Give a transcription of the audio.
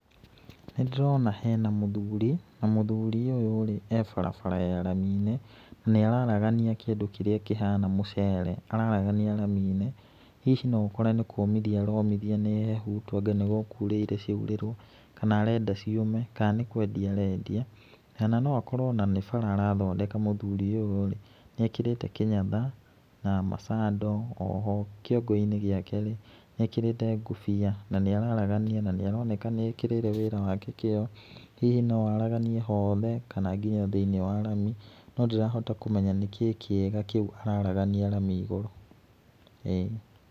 Nĩ ndĩrona hena mũthuri na mũthuri ũyũ rĩ, e barabara ya rami-inĩ na nĩ araragania kĩndũ kĩrĩa kĩhana mũcere. Araragania rami-inĩ, hihi no ũkore nĩ kũmithia aromithia nĩ hehu, tondũ anga nĩ gũkurĩte ciaurĩrwo, kana arenda ciũme, kana nĩ kwendia arendia, kana no akorwo o na nĩ bara arathondeka mũthuri ũyũ rĩ, nĩ ekĩrĩte kĩnyatha na macando, o ho kĩongo-inĩ gĩake nĩ ekĩrĩte ngobia na nĩ araragania na nĩ aroneka nĩ ekĩrĩire wĩra wake kĩo. Hihi no araganie hothe kana nginya thĩiniĩ wa rami, no ndirahota kũmenya nĩ kĩĩ kĩega kĩu araragania rami igũrũ, ĩĩ.